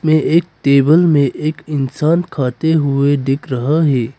ये एक टेबल में एक इंसान खाते हुए दिख रहा है।